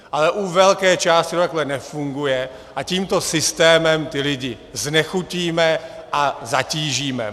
Ale u velké části to takhle nefunguje a tímto systémem ty lidi znechutíme a zatížíme.